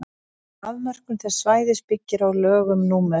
afmörkun þess svæðis byggir á lögum númer